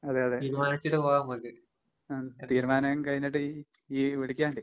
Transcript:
അതെയതെ. ആഹ് തീരുമാനം കഴിഞ്ഞിട്ടിയ് ഇയ്യ്‌ വിളിക്കങ്ങിട്ട്.